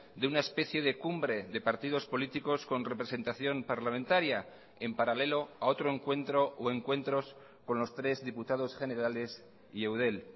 de una especie de cumbre de partidos políticos con representación parlamentaria en paralelo a otro encuentro o encuentros con los tres diputados generales y eudel